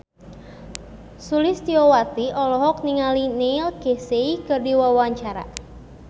Sulistyowati olohok ningali Neil Casey keur diwawancara